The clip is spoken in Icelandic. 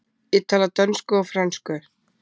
Ég tala dönsku og frönsku.